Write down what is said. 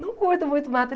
Não curto muito mato. Ele